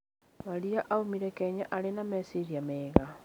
Maria oimire Kenya arĩ na meciria mega.